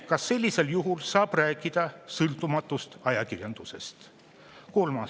Kas sellisel juhul saab rääkida sõltumatust ajakirjandusest?